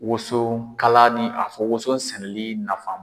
Woson kala ni a fɔ woson sɛnɛli nafan.